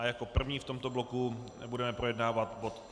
A jako první v tomto bloku budeme projednávat bod